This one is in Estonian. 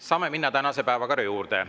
Saame minna tänase päevakorra juurde.